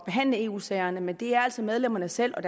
behandle eu sagerne men det er altså medlemmerne selv og